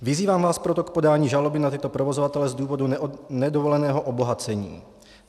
Vyzývám vás proto k podání žaloby na tyto provozovatele z důvodu nedovoleného obohacení.